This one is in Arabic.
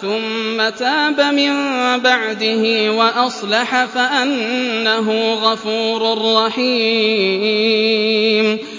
ثُمَّ تَابَ مِن بَعْدِهِ وَأَصْلَحَ فَأَنَّهُ غَفُورٌ رَّحِيمٌ